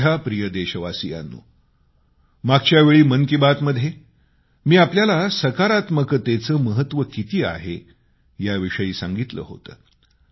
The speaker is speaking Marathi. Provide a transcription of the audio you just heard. माझ्या प्रिय देशवासियांनो मागच्यावेळी मन की बात मध्ये मी आपल्याला सकारात्मकतेचं महत्व किती आहे याविषयी सांगितलं होतं